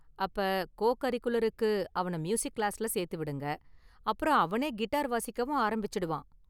அப்ப கோ கரிகுலருக்கு அவன மியூசிக் கிளாஸ்ல சேத்து விடுங்க. அப்புறம் அவனே கிட்டார் வாசிக்கவும் ஆரம்பிச்சுடுவான்.